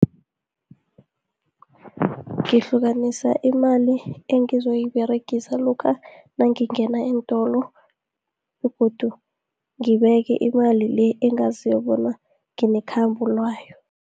Ngihlukanisa imali engizoyiberegisa, lokha nangingena eentolo, begodu ngibeke imali le, engaziko bona nginekhambo layo.